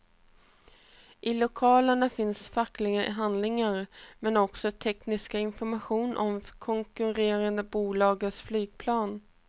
I lokalerna fanns fackliga handlingar, men också teknisk information om konkurrerande bolags flygplan.